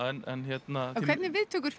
hvernig viðtökur